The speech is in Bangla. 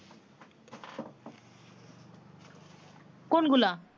কোন গুলা